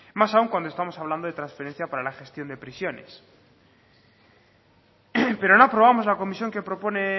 más aún cuando estamos hablando de transferencia para la gestión de prisiones pero no aprobamos la comisión que propone